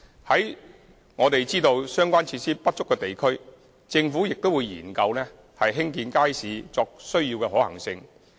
在我們知道相關施設不足的地區，政府會研究興建街市的可行性。